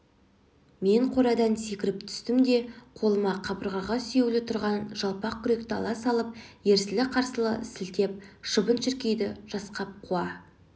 мен қорадан секіріп түстім де қолыма қабырғаға сүйеулі түрған жалпақ күректі ала салып ерсілі-қарсылы сілтеп шыбын-шіркейді жасқап қуа